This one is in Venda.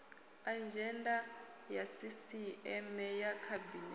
adzhenda ya sisieme ya khabinete